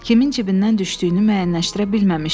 kimin cibindən düşdüyünü müəyyənləşdirə bilməmişdi.